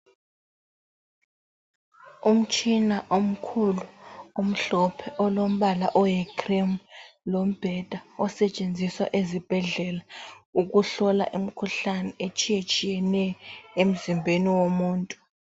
Umtshina omkhulu omhlophe olombala oyicream lombheda osetshenziswa ezibhedlela ukuhlola imikhuhlane etshiyetshiyeneyo emzimbeni womuntu.